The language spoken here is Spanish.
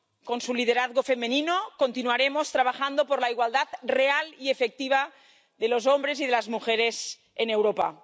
Con su liderazgo femenino continuaremos trabajando por la igualdad real y efectiva de los hombres y de las mujeres en Europa.